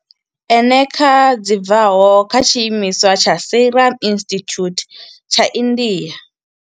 Eneca dzi bvaho kha tshiimiswa tsha Serum Institute tsha India.